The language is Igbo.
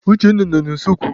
Uchenna nọ n'useekwu.